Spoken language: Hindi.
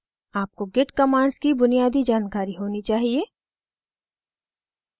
आपको git commands की बुनियादी जानकारी होनी चाहिए